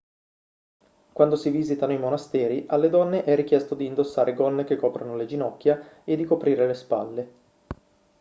quando si visitano i monasteri alle donne è richiesto di indossare gonne che coprano le ginocchia e di coprire le spalle